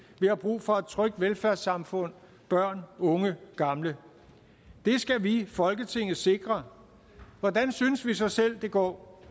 vi har brug for et trygt velfærdssamfund børn unge gamle det skal vi i folketinget sikre hvordan synes vi så selv det går